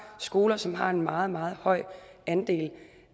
skoler som har en meget meget høj andel